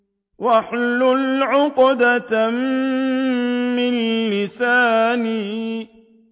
وَاحْلُلْ عُقْدَةً مِّن لِّسَانِي